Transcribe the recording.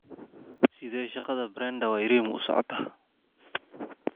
Sidee shaqada Brenda Wairimu u socotaa?